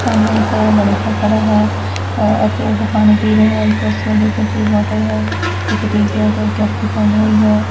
ਸਾਹਮਣੇ ਇੱਕ ਲੜਕਾ ਖੜਾ ਹੈ ਅਤੇ ਉਹ ਪਾਣੀ ਪੀ ਰਿਹਾ ਹੈ ਇੱਕ ਟੂਟੀ ਬੋਤਲ ਹੈ ਇੱਕ ਟੀ ਸ਼ਰਟ ਹੈ ਇੱਕ ਕੈਪਰੀ ਪਹਨੀ ਹੁਈ ਹੈ।